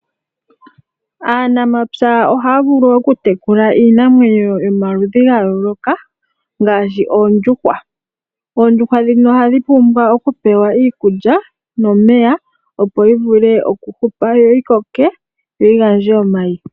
Aanamapya ohaya vulu okutekula iinamwenyo yomaludhi gayooloka ngaashi oondjuhwa. Oondjuhwa ndhino ohadhi pumbwa okupewa iikulya nomeya opo yivule okukoka, yo yigandje omayi.